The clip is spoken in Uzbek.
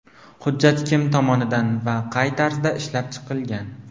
Hujjat kim tomonidan va qay tarzda ishlab chiqilgan?